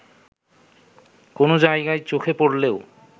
কোনো জায়গায় চোখে পড়লেও